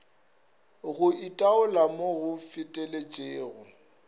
go itaola mo go feteletšego